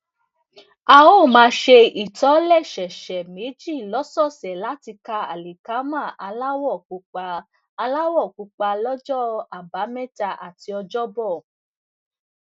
a ó máa ṣe ìtòlẹsẹẹsẹ méjì lọsọọsẹ láti ta àlìkámà aláwọ pupa aláwọ pupa lọjọ àbámẹta àti ọjọbọ